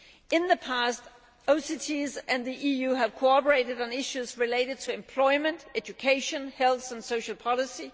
In the past OCTs and the EU have cooperated on issues related to employment, education, health and social policy.